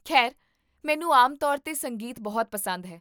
ਖੈਰ, ਮੈਨੂੰ ਆਮ ਤੌਰ 'ਤੇ ਸੰਗੀਤ ਬਹੁਤ ਪਸੰਦ ਹੈ